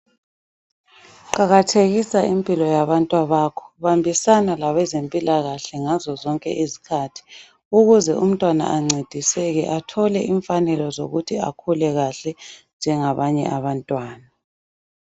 Qakathekisa impilo yabantwabakho. Bambisana labezempilakahle ngazo zonke izikhathi ukuze umntwana ancediseke athole imfanelo zokuthi akhule kahle njengabanye abantwana.